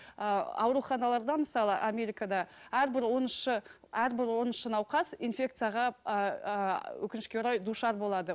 ыыы ауруханаларда мысалы америкада әрбір оныншы әрбір оныншы науқас инфекцияға ыыы өкінішке орай душар болады